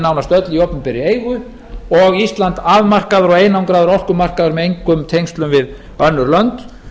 nánast öll í opinberri eigu og ísland afmarkaður og einangraður orkumarkaður með eigu tenglsum við önnur lönd